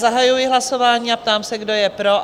Zahajuji hlasování a ptám se, kdo je pro?